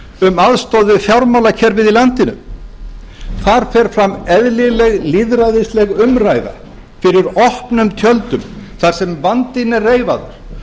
um aðstoð við fjármálakerfið í landinu þar fer fram eðlileg lýðræðisleg umræða fyrir opnum tjöldum þar sem vandinn er reifaður